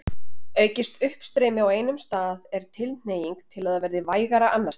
Aukist uppstreymi á einum stað er tilhneiging til að það verði vægara annars staðar.